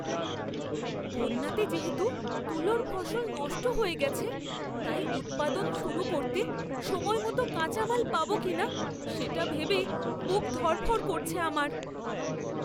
বন্যাতে যেহেতু তুলোর ফসল নষ্ট হয়ে গেছে তাই উৎপাদন শুরু করতে সময়মত কাঁচা মাল পাব কিনা সেটা ভেবে বুক ধড়ফড় করছে আমার!